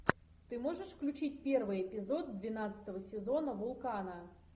ты можешь включить первый эпизод двенадцатого сезона вулкана